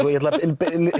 ég ætla að